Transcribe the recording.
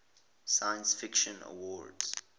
science fiction awards